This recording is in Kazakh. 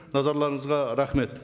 назарларыңызға рахмет